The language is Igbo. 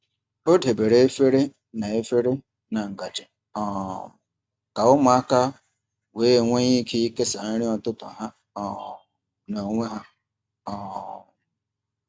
Ọ debere efere na efere na ngaji um ka ụmụaka wee nwee ike ikesa nri ụtụtụ ha um n’onwe ha. um